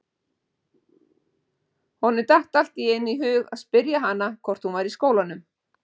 Honum datt allt í einu í hug að spyrja hana hvort hún væri í skólanum.